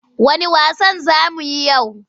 Wanne wasan za mu yi yau?